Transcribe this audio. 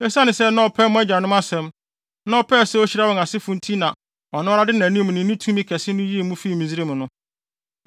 Esiane sɛ na ɔpɛ mo agyanom asɛm, na ɔpɛɛ sɛ ohyira wɔn asefo nti na ɔno ara de nʼanim ne ne tumi kɛse no yii mo fii Misraim no.